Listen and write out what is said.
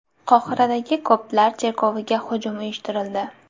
Qohiradagi koptlar cherkoviga hujum uyushtirildi.